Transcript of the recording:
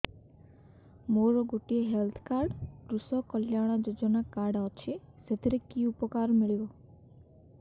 ମୋର ଗୋଟିଏ health card କୃଷକ କଲ୍ୟାଣ ଯୋଜନା କାର୍ଡ ଅଛି ସାଥିରେ କି ଉପକାର ମିଳିବ